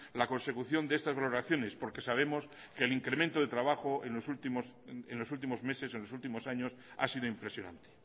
la consecución de estas valoraciones porque sabemos que el incremente de trabajo en los últimos meses o en los últimos años ha sido impresionante